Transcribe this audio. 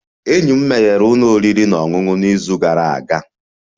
Enyi m meghere ụlọ oriri na ọṅụṅụ n'izu gara aga